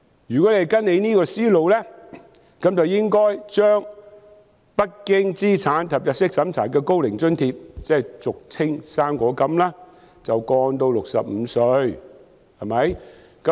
如果跟隨這樣的思路，便應該把無須經資產及入息審查的高齡津貼申請年齡降至65歲，對嗎？